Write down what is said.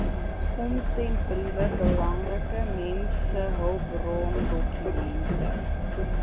omsendbriewe belangrike mensehulpbrondokumente